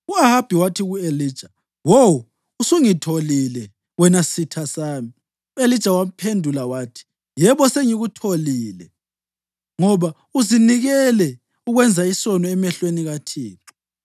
U-Ahabi wathi ku-Elija, “Wo usungitholile, wena sitha sami!” U-Elija wamphendula wathi, “Yebo sengikutholile ngoba uzinikele ukwenza isono emehlweni kaThixo.